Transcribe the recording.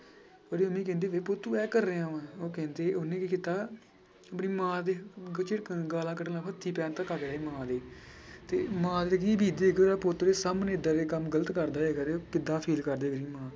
ਉੁਹਦੀ mummy ਕਹਿੰਦੀ ਵੇ ਪੁੱਤ ਤੂੰ ਇਹ ਕਰ ਰਿਹਾ ਵਾਂ ਉਹ ਕਹਿੰਦੀ ਉਹਨੇ ਕੀ ਕੀਤਾ ਆਪਣੀ ਮਾਂ ਦੇ ਗਾਲਾਂ ਕੱਢਣ ਲੱਗ ਪਿਆ ਮਾਂ ਦੀ ਤੇ ਮਾਂ ਤੇ ਕੀ ਬੀਤੇਗੀ ਉਹਦਾ ਪੁੱਤ ਉਹਦੇ ਸਾਹਮਣੇ ਏਦਾਂ ਦੇ ਕੰਮ ਗ਼ਲਤ ਕਰਦਾ ਹੋਏਗਾ ਤੇ ਉਹ ਕਿੱਦਾਂ feel ਕਰ ਰਹੀ ਹੋਏਗੀ ਮਾਂ।